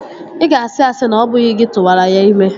Ị ga-asị asị na ọ bụghị gị tụwara ya ime